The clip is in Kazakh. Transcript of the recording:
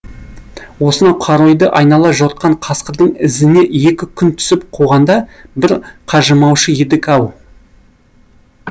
осынау қаройды айнала жортқан қасқырдың ізіне екі күн түсіп қуғанда бір қажымаушы едік ау